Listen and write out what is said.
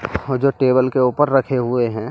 वो जो टेबल के ऊपर रखे हुए हैं।